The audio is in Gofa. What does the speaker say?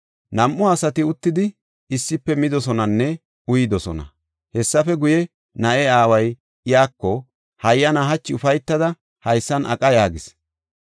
Nam7u asati uttidi issife midosonanne uyidosona. Hessafe guye na7e aaway iyako, “Hayyana, hachi ufaytada haysan aqa” yaagis.